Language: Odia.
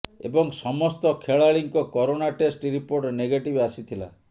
ଏବଂ ସମସ୍ତ ଖେଳାଳିଙ୍କ କରୋନା ଟେଷ୍ଟ ରିପୋର୍ଟ ନେଗେଟିଭ୍ ଆସିଥିଲା